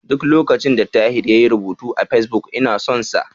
Duk lokacin da Tahir yayi rubutu a Fesbuk, ina son sa.